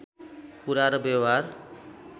कुरा र व्यवहार